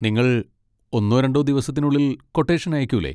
നിങ്ങൾ ഒന്നോ രണ്ടോ ദിവസത്തിനുള്ളിൽ ക്വട്ടേഷൻ അയക്കൂലെ?